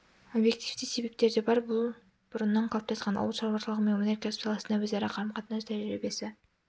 объективті себептер де бар бұл бұрыннан қалыптасқан ауыл шаруашылығы мен өнеркәсіп саласында өзара қарым-қатынас тәжірибесі